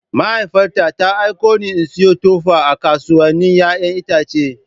Mahaifiyata ta aiko ni in sayo tuffa a kasuwannin 'ya'yan itace.